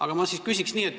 Aga ma küsin nii.